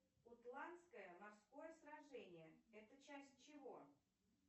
ютландское морское сражение это часть чего